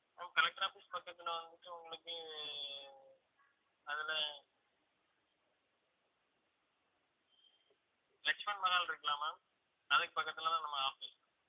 ma'am collector office பக்கத்துல வந்துட்டு உங்களுக்கு அதுல லட்சுமணன் மஹால் இருக்கல்ல ma'am அதுக்கு பக்கத்துலதான் நம்ம office